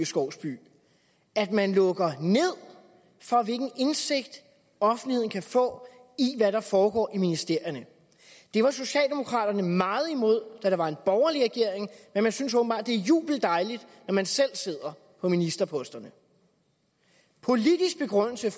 skovsby at man lukker ned for hvilken indsigt offentligheden kan få i hvad der foregår i ministerierne det var socialdemokraterne meget imod da der var en borgerlig regering men man synes åbenbart at det er jubeldejligt når man selv sidder på ministerposterne politisk begrundelse